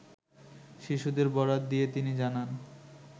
শিশুদের বরাত দিয়ে তিনি জানান